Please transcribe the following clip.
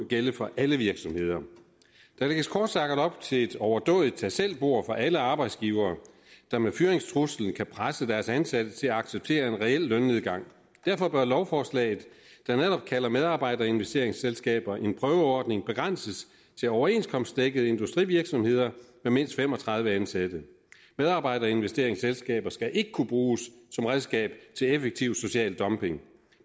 gælde for alle virksomheder der lægges kort sagt op til et overdådigt tag selv bord for alle arbejdsgivere der med fyringstruslen kan presse deres ansatte til at acceptere en reel lønnedgang derfor bør lovforslaget der netop kalder medarbejderinvesteringsselskaber en prøveordning begrænses til overenskomstdækkede industrivirksomheder med mindst fem og tredive ansatte medarbejderinvesteringsselskaber skal ikke kunne bruges som redskab til effektiv social dumping